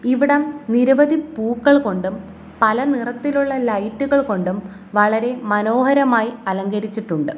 ഇവിടം നിരവധി പൂക്കൾ കൊണ്ടും പല നിറത്തിലുള്ള ലൈറ്റ് കൾ കൊണ്ടും വളരെ മനോഹരമായി അലങ്കരിച്ചിട്ടുണ്ട്.